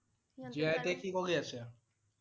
জীয়াই এতিয়া কি কৰি আছে?